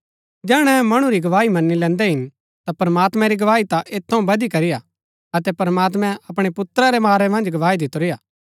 जैहणै अहै मणु री गवाई मन्‍नी लैन्दै हिन ता प्रमात्मैं री गवाई ता ऐत थऊँ बधी करी हा अतै प्रमात्मैं अपणै पुत्रा रै बारै मन्ज गवाई दितुरी हा